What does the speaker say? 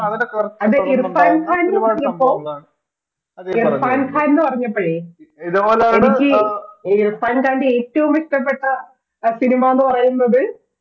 അതെ ഇർഫാൻ ഖാൻ എന്നു പറഞ്ഞപ്പോൾ, അതെ ഇർഫാൻ ഖാൻ എന്നു പറഞ്ഞപ്പോഴേ എനിക്ക് പണ്ടെന്റെ ഏറ്റവും ഇഷ്ട്ടപ്പെട്ട cinema എന്നു പറയുന്നത്